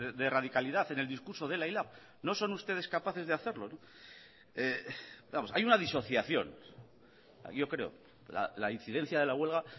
de radicalidad en el discurso de ela y lab no son ustedes capaces de hacerlo vamos hay una disociación yo creo la incidencia de la huelga